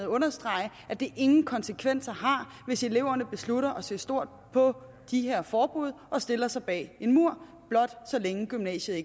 understrege at det ingen konsekvenser har hvis eleverne beslutter at se stort på de her forbud og stiller sig bag en mur så længe gymnasiet